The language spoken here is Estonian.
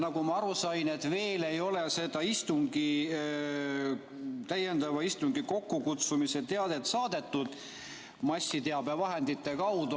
Nagu ma aru sain, veel ei ole seda täiendava istungi kokkukutsumise teadet saadetud massiteabevahendite kaudu.